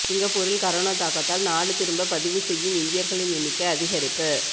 சிங்கப்பூரில் கரோனா தாக்கத்தால் நாடு திரும்ப பதிவு செய்யும் இந்தியர்களின் எண்ணிக்கை அதிகரிப்பு